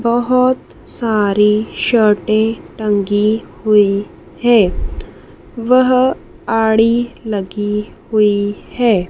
बहुत सारी शर्टे टंगी हुई है वह आड़ी लगी हुई है।